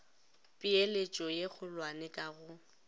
peeletšo ye kgolwane ka go